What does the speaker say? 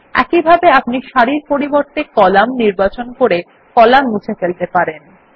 একইভাবে আপনি সারির পরিবর্তে কলাম নির্বাচন করে কলাম মুছে ফেলতে পারেন